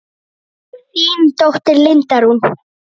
Þín dóttir, Linda Rún.